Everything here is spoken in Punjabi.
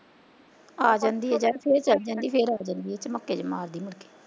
ਆ ਜਾਂਦੀ ਏ ਜਦ ਫੇਰ ਚਲ ਜਾਂਦੀ, ਫੇਰ ਆ ਜਾਂਦੀ ਏ ਚਮੱਕੇ ਜੇ ਮਾਰਦੀ ਮੁੜਕੇ